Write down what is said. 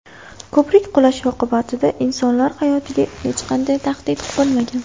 Ko‘prik qulashi oqibatida insonlar hayotiga hech qanday tahdid bo‘lmagan.